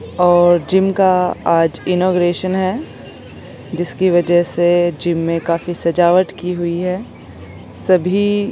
और जिम का आज इनोग्रेसन है जिस की वजह से जिम में काफी सजावट की हुई है सभी--